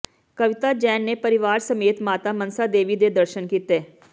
ਕਵਿਤਾ ਜੈਨ ਨੇ ਪਰਿਵਾਰ ਸਮੇਤ ਮਾਤਾ ਮਨਸਾ ਦੇਵੀ ਦੇ ਦਰਸ਼ਨ ਕੀਤੇ